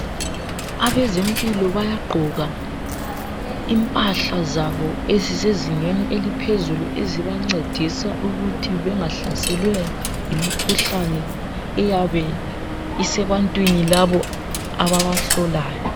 Abezempilo bayagqoka impahla zabo ezisezingeni eliphezulu ezibancedisa ukuthi bengahlaselwa yimikhuhlane eyabe isebantwini labo ababahlolayo.